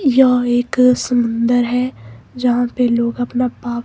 यह एक समुद्र है यहां पे लोग अपना पाप--